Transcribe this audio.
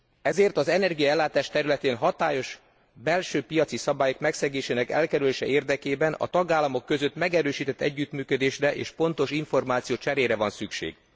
Ezért az energiaellátás területén hatályos belső piaci szabályok megszegésének elkerülése érdekében a tagállamok között megerősített együttműködésre és pontos információcserére van szükség.